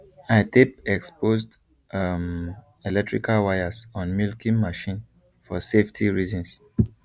i tape exposed um electrical wires on milking machine for safety reasons